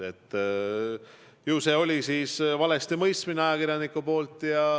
Ju see oli siis valesti mõistmine ajakirjaniku poolt.